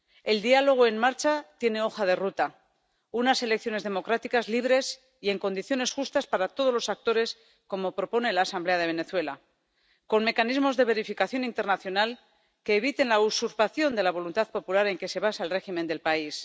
El diálogo en marcha tiene hoja de ruta unas elecciones democráticas, libres y en condiciones justas para todos los actores, como propone la Asamblea de Venezuela, con mecanismos de verificación internacional que eviten la usurpación de la voluntad popular en que se basa el régimen del país.